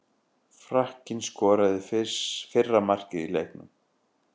Frakkinn skoraði fyrra markið í leiknum.